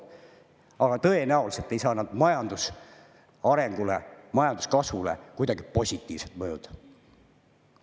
Aga tõenäoliselt ei saa need majandusarengule, majanduskasvule kuidagi positiivselt mõjuda.